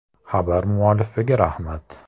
Xabar muallifiga rahmat.